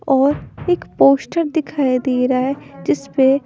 और एक पोस्टर दिखाई दे रहा है जिस पे--